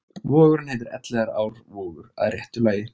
Vogurinn heitir Elliðaárvogur að réttu lagi.